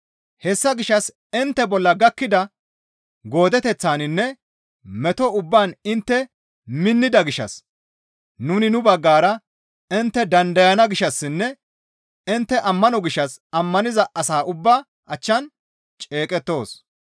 Hessa gishshas intte bolla gakkida goodeteththaninne meto ubbaan intte minnida gishshas nuni nu baggara intte dandayaa gishshassinne intte ammano gishshas ammaniza asa ubbaa achchan ceeqettoos.